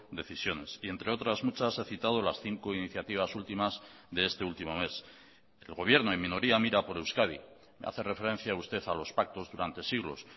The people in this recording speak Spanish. decisiones y entre otras muchas he citado las cinco iniciativas últimas de este último mes el gobierno en minoría mira por euskadi me hace referencia usted a los pactos durante siglos